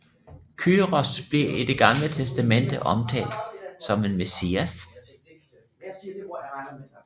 Kyros bliver i Det gamle testamente omtalt som en messias